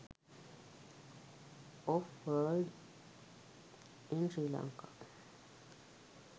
of world in sri lanka